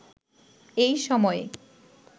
এই সময়ে